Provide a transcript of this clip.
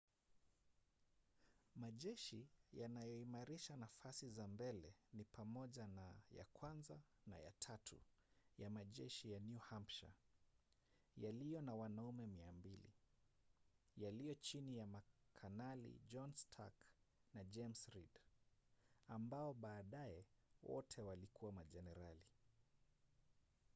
majeshi yanayoimarisha nafasi za mbele ni pamoja na ya 1 na ya 3 ya majeshi ya new hampshire yaliyo na wanaume 200 yaliyo chini ya makanali john stark na james reed ambao baadaye wote walikuwa majenerali